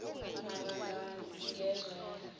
maar ngezwa yazi